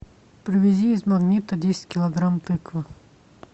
привези из магнита десять килограмм тыквы